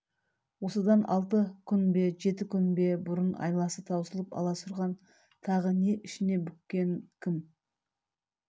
осыдан алты күн бе жет күн бе бұрын айласы таусылып аласұрған тағы не ішіне бүккенін кім